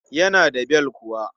Yana da bel kuwa.